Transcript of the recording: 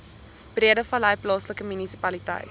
breedevallei plaaslike munisipaliteit